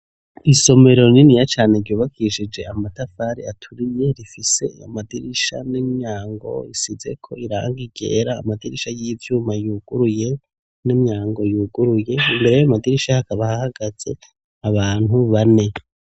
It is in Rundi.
Isomero rininiya cane ryubakishije amatafari aturiye, rifise amadirisha n'imyango isizeko irangi ryera, amadirisha y'ivyuma yuguruye n'imyango yuguruye, imbere y'ayo madirisha hakaba hagaze abantu bane.